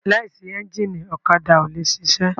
Láìsí ẹ́ńgìnì ọ̀kadà ò le ṣiṣẹ́.